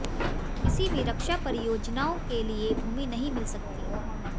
किसी भी रक्षा परियोजनाओं के लिए भूमि नहीं मिल सकती